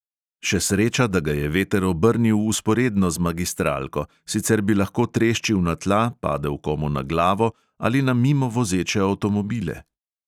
Še sreča, da ga je veter obrnil vzporedno z magistralko, sicer bi lahko treščil na tla, padel komu na glavo ali na mimo vozeče avtomobile.